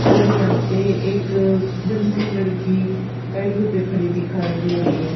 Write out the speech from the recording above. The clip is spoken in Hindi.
और यहां पे एक गंजी लड़की पैडियों पे खड़ी दिखाई दे रही है।